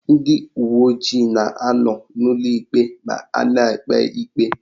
Ndị uweojii na anọ n'ụlọikpe ma a na-ekpe ikpe.